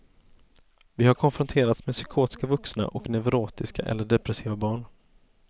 Vi har konfronterats med psykotiska vuxna och neurotiska eller depressiva barn.